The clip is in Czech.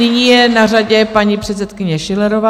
Nyní je na řadě paní předsedkyně Schillerová.